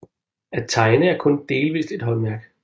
At tegne er kun delvist et håndværk